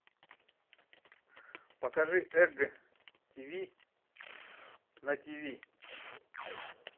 покажи эг тиви на тиви